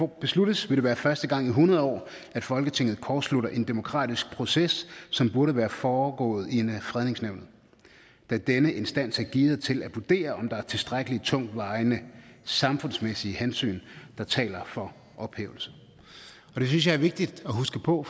besluttes vil det være første gang i hundrede år at folketinget kortslutter en demokratisk proces som burde være foregået i fredningsnævnet da denne instans er gearet til at vurdere om der er tilstrækkelige tungtvejende samfundsmæssige hensyn der taler for ophævelse det synes jeg er vigtigt at huske på